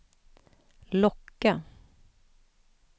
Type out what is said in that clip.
locka